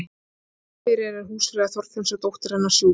heima fyrir er húsfreyja þorfinns og dóttir hennar sjúk